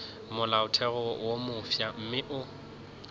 molaotheo wo mofsa mme o